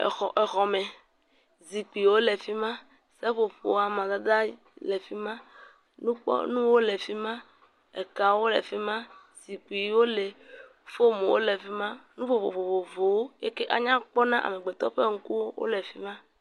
Exɔ exɔme, zikpuiwo le fi ma seƒoƒo amadede le fi ma nukpɔmɔ le fi ma, ekawo le fi ma zikpuiwo le, fomuwo le fi ma nu vovovo eke anyakpɔ na amegbetɔ ƒe ŋkuwo.